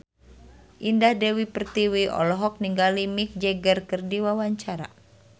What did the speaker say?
Indah Dewi Pertiwi olohok ningali Mick Jagger keur diwawancara